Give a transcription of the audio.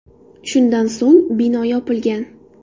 Shundan so‘ng bino yopilgan.